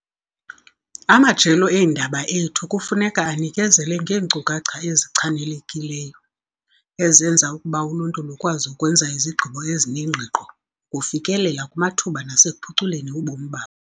Amajelo eendaba ethu kufuneka anikezele ngeenkcukacha ezichanelekileyo, ezenza ukuba uluntu lukwazi ukwenza izigqibo ezinengqiqo, ukufikelela kumathuba nasekuphuculeni ubomi babo.